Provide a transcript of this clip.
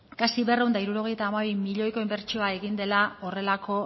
kasi berrehun eta hirurogeita hamabi milioiko inbertsioa egin dela horrelako